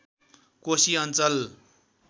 कोशी अञ्चल